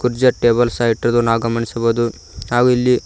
ಜ ಟೇಬಲ್ ಸಹ ಇಟ್ಟಿರುವುದನ್ನು ಗಮನಿಸಬಹುದು ಹಾಗು ಇಲ್ಲಿ--